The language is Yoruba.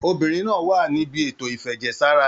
Obìnrin náà á wà níbi ètò ìfẹ̀jẹ̀ sára